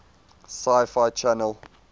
sci fi channel